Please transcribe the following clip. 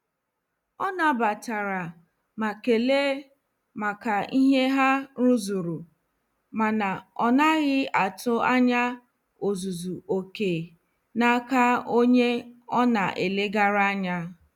Ọ nabatara ma kelee maka ihe ha rụzuru mana onaghi atụ anya ọzụzụ oké n'aka onye ọ na-elegara anya.